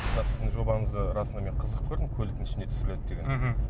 сіздің жобаңызды расында мен қызық көрдім көліктің ішінде түсіріледі деген мхм